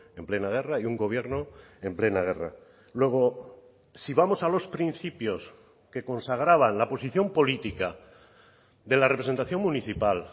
en plena guerra y un gobierno en plena guerra luego si vamos a los principios que consagraban la posición política de la representación municipal